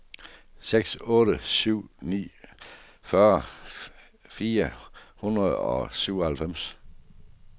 seks otte syv ni fyrre fire hundrede og syvoghalvfems